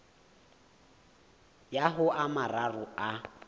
ya ho a mararo a